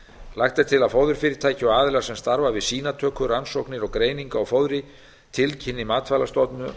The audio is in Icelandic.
lagt er til að fóðurfyrirtæki og aðilar sem starfa við sýnatöku rannsóknir og greiningu á fóðri tilkynni matvælastofnun